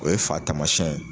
O ye fa tamasiyɛn ye.